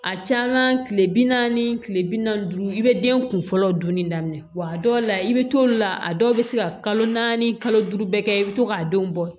A caman kile bi naani kile bi naani duuru i be den kun fɔlɔ dunni daminɛ wa dɔw la i be t'olu la a dɔw be se ka kalo naani kalo duuru bɛɛ kɛ i be to k'a denw bɔ